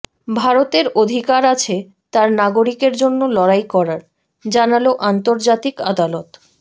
ভারতের অধিকার আছে তার নাগরিকের জন্য লড়াই করার জানাল আন্তর্জাতিক আদালত